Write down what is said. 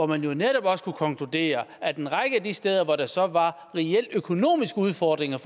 man netop også konkludere at en række af de steder hvor der så var reelle økonomiske udfordringer